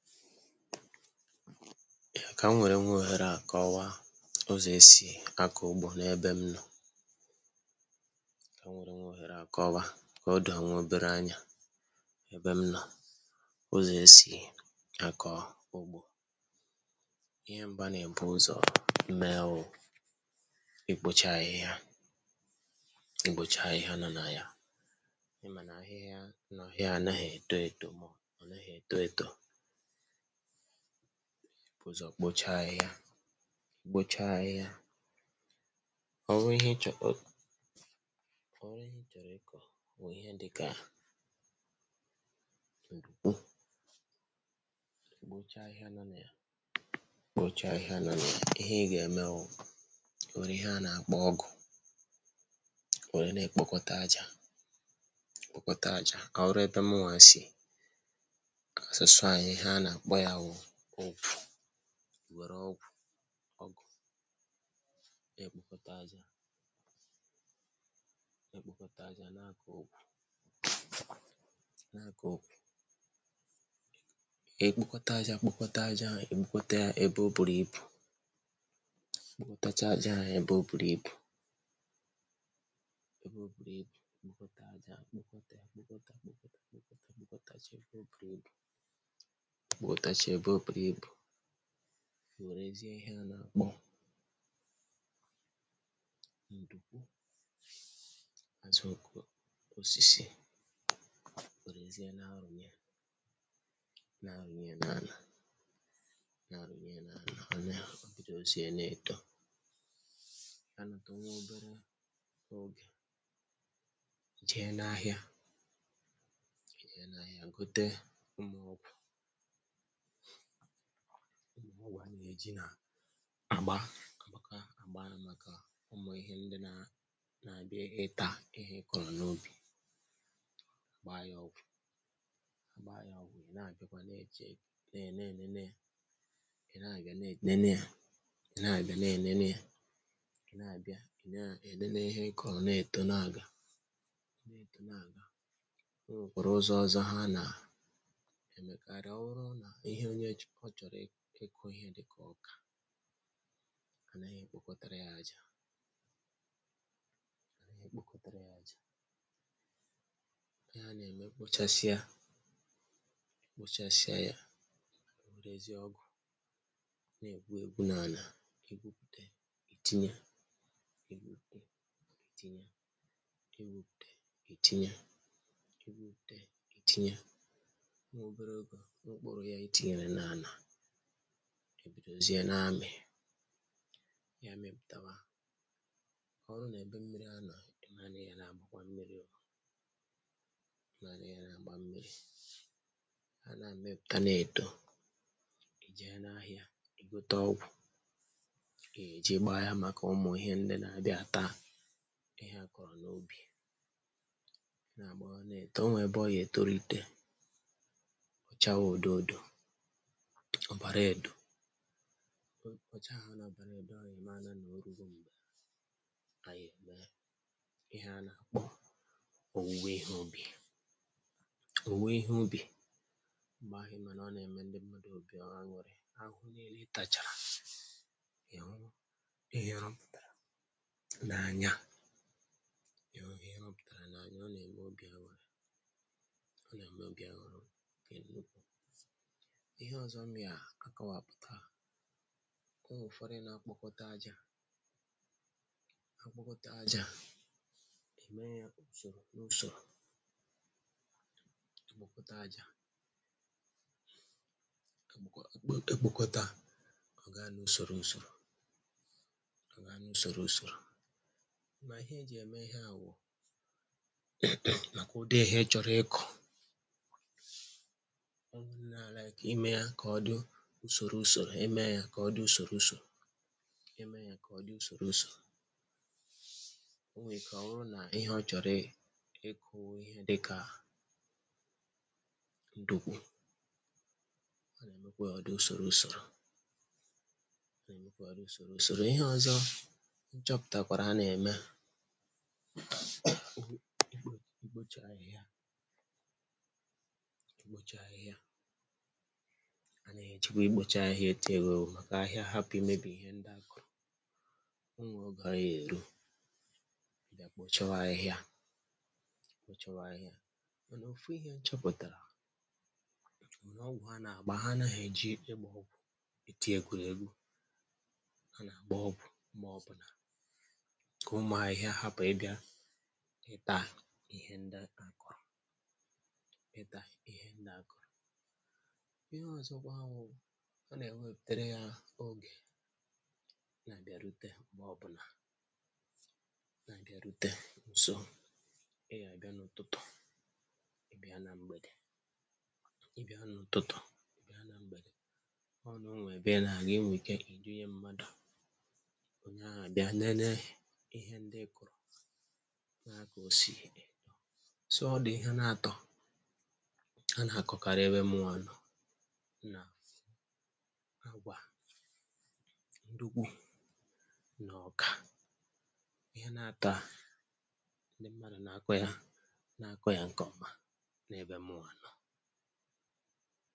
Ka m nwere nwa ohere a kọwaa ụzọ̀ esi akọ̀ ugbo n'ebe m nọ̀. Ka m nwere nwa ohere a kọwaa ka o doo nwa obere ányá ébé m nọ̀ ụzọ̀ esi akọ̀ ugbo. Ihe mbụ a na-ebu ụzọ̀ mee wụ i kpocha ahịhịa, i kpocha ahịhịa nọ na ya. Ị ma na ahịhịa nọ ọ naghị eto eto, ọ naghị eto eto. A na ebu uzo kpocha ahịhịa, kpocha ahịhịa o nwee ihe ịchọ, o o nwee ihe ịchọrọ ịkọ wụ ihe dịka, bụcha ahịhịa nọ na ya, kpocha ahịhịa nọ na ya. Ihe ị ga-eme wụ o nwere ihe a na-akpọ ọgụ, o nwee na-ekpokọta aja, kpọkọta aja. Ọ wụrụ etu mụwa si ọsụsụ ahịhịa ahụ, ihe a na-akpọ ya wụ ọ̀gwụ̀. Nwere ọ̀gwụ̀ ọgụ̀ na-ekpokọta aja, na-ekpokọta aja na-akọ ọ̀gwụ̀, na-akọ ọ̀gwụ̀, ekpokọta aja, kpokọta aja. Ekpokọta ya ebe o buru ibu, kpokọtacha aja a ebe o buru ibu. Ebe o buru ibu, kpokọta aja, kpokọta ya, kpokọta ya, kpokọta ya, kpokọta ya, kpokọtacha ya ebe o buru ibu, kpokọtacha aja a ebe o buru ibu. Ewerezie ihe a na-akpọ ndukwu osisi, werezie na-arụnye, na-arụnye n'ana, na-arụnye n'ana. O bido zie na-eto, anụtụ nwee obere oge, jee n'ahịa, jee n'ahịa gote ụmụ ọ̀gwụ̀. Ụmụ ọ̀gwụ̀ a na-eji na-agbaa, agbakwa agbaa maka ụmụ ihe ndị na-abịa ịtȧ ihe ị kọrọ n'ubi. Gbaa ya ọ̀gwụ̀, agbaa ya ọ̀gwụ̀, ị na-abịa kwa n'eche na-enene, ị na-abịa na-enene, ị na-abịa na-enene, ị na-abịa ị na-enene ihe ị kọrọ. Na-etȯ na-aga, na-etȯ na-aga, enwekwara ụzọ ọzọ ha na emekarị. Ọ wụrụ na ihe onye ji ọ chọrọ ị ịkụ ihe dịka ọkà, anaghị ekpokọtara ya aja, anaghị ekpokọtara ya aja. Ihe a na-eme, ekpochasịa, ekpochasịa ya, werezie ọgụ na-egwu egwu n'ana. E gwupute, itinye, e gwupute, itinye, e gwupute, itinye, e gwupute, itinye. Nwobere oge, mkpụrụ ya itinyere n'ana, ebidozie na-amị. Ya mịpụtawa ọ rụ na-ebe mmiri a nọ. Ịmara na ị ya na-agbakwa mmírí, o ịmara na ị ya na-agba mmiri. Ha na-amịpụta na-eto, ị́ jee n'ahịa, ị gote ọ̀gwụ̀, ị́ ya eji gbaa ya maka ụmụ ihe ndị na-abịa ata ihe akọrọ n'ubi. Na-agbawa na-eto, o nwee ebe ọ ya etoro, ite ọ chawa ododo ọbara edo ọ, ọ chagha na ọbara edo. Ịmara na orugo, mgbe anyị eme ihe ana kpọ owuwe ihe ubi. Owuwe ihe ubi mgbe ahụ, ịma na ọ na-eme ndị mmadụ obi aṅụrị ahụhụ niile. Ị tacha ị hụ ihe a pụtara na anya, ị hụ ihe ọ pụtara na anya. Ọ na-eme obi aṅụrị, ọ na-eme obi aṅụrị nke nnukwu. Ihe ọzọ m ya akọwa pụta ụmụ ụfọdụ na-akpọkọta aja, ha kpokọta aja, emee ya usoro n'usoro, kpokọta aja, kpokọta ọ gaa n'usoro usoro, ọ gaa n'usoro usoro. Ma ihe e ji eme ihe a wụ um nakwa ụdị ihe ịchọrọ ịkọ, ka odu usoro usoro. Emeė ya ka ọ dị usoro usoro, emeė ya ka ọ dị usoro usoro. O nwee ka ọ rụọ na ihe ọ chọrọ ị ịkụ ihe dịka, dokwe ọ na-emekwa ya ọ dị usoro usoro, ọ na-emekwa ya ọ dị usoro usoro. Ihe ọzọ m chọpụtakwara a na-eme. Ịkpo, ịkpo, ị́kpocha ahịhịa, ị́kpocha ahịhịa anaghị ejikwa ị́kpocha ahịhịa e ti, ka ahịhịa hapụ ịmebi ihe ndị akụrụ́. Enwere oge a ya eru, a bịa kpochawa ahịhịa, kpochawa ahịhịa mànà ofú ihe nchoputara bu na ọ̀gwụ̀ a na-agba ha anaghị eji ịgba ọ̀gwụ̀ e ti ekwele égwu. Ha na-agba ọ̀gwụ̀ ma ọ bụna ka ụmụ ahịhịa hapụ ị́ bịa ịta ihe ndị a kụrụ́, ịta ihe ndị akụrụ́. Ihe ọzọkwa wụ ọ na-ewepụtere ya oge na-abịa rute mgbe ọ bụna na-abịarute nso. Ị́ ya-aga n'ụtụtụ, ị bịa na mgbede. Ị bịa hụ n'ụtụtụ, ị bịa na mgbede ọ na onwebe ị na-aga ị nwii ike ịdị nye mmadụ. Onye ahụ abịa nene ihe ndị ịkụrụ na ka o si dị so ọ dị ihe na-atọ. A na-akọkarị ebe mụa nọ na agwa, ndukwu nà ọkà ihe nà-àtọa ndi mmadụ na-akọ ya, na-akọ ya nke ọma n'ebe mụnwa nọ.